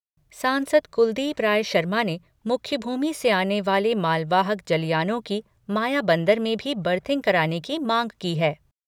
सांसद कुलदीप राय शर्मा ने मुख्यभूमि से आने वाले मालवाहक जलयानों की मायाबंदर में भी बर्थिंग कराने की मांग की है।